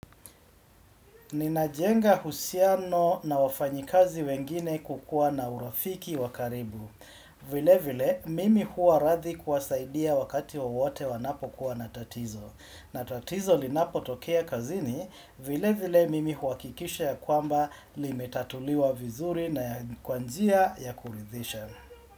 Ninajenga husiano na wafanyikazi wengine kwakuwa na urafiki wakaribu. Vile vile, mimi huwa rathi kuwasaidia wakati wowote wanapo kuwa natatizo. Natatizo linapo tokea kazini, vile vile mimi huwakikisha ya kwamba limetatuliwa vizuri na kwanjia ya kulidhisha.